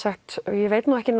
ég veit ekki